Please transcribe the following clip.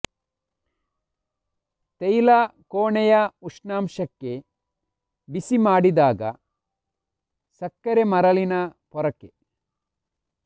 ತೈಲ ಕೋಣೆಯ ಉಷ್ಣಾಂಶಕ್ಕೆ ಬಿಸಿ ಮಾಡಿದಾಗ ಸಕ್ಕರೆ ಮರಳಿನ ಪೊರಕೆ